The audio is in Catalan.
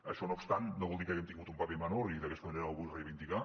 això no obstant no vol dir que haguem tingut un paper menor i d’aquesta manera ho vull reivindicar